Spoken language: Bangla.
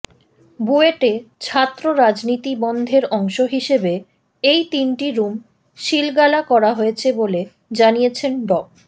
বুয়েটে ছাত্র রাজনীতি বন্ধের অংশ হিসেবে এই তিনটি রুম সিলগালা করা হয়েছে বলে জানিয়েছেন ড